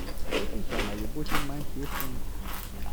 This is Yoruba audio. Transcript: ó sì ṣàlàyé bó ṣe máa ń ṣe é fún un